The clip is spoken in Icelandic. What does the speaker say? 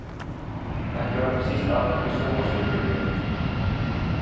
Ekki vakti síst athygli sjónvarpsviðtal við